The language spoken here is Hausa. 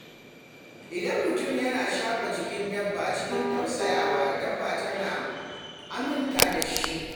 Idan mutum yana shafa jikin dabba cikin tausayawa, dabbar tana aminta da shi.